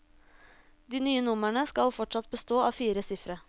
De nye numrene skal fortsatt bestå av fire sifre.